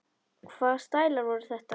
Hvaða stælar voru þetta?